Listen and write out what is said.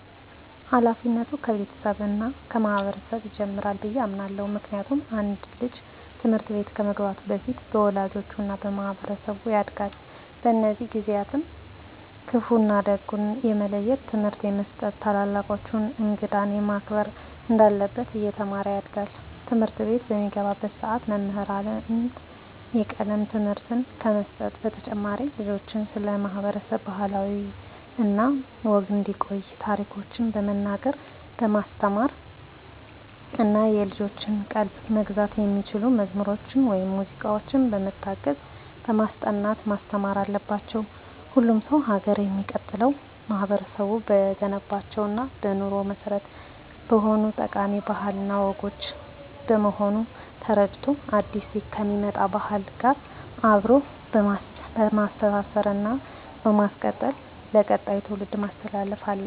ሀላፊነቱ ከቤተሰብ እና ከማህበረሰብ ይጀምራል ብየ አምናለሁ። ምክንያቱም አንድ ልጅ ትምህርት ቤት ከመግባቱ በፊት በወላጆቹ እና በማህበረሰቡ ያጋድል። በእነዚህ ጊዜአትም ክፋ እና ደጉን የመለየት ትምህርት እየተሰጠው ታላላቆቹን፣ እንግዳን ማክበር እንዳለበት እየተማረ ያድጋል። ትምህርትቤት በሚገባባትም ሰዓት መምህራን የቀለም ትምህርትን ከመስጠት በተጨማሪ ልጆችን ስለ ማህበረሰብ ባህል እና ወግ እንዲያቁ ታሪኮችን በመናገር በማስተማር እና የልጆችን ቀልብ መግዛት በሚችሉ መዝሙር ወይም ሙዚቃዎች በመታገዝ በማስጠናት ማስተማር አለባቸው። ሁሉም ሰው ሀገር የሚቀጥለው ማህበረቡ በገነባቸው እና በኑሮ መሰረት በሆኑት ጠቃሚ ባህል እና ወጎች በመሆኑን ተረድቶ አዲስ ከሚመጣ ባህል ጋር አብሮ በማስተሳሰር እና በማስቀጠል ለቀጣይ ትውልድ ማስተላለፍ አለበት።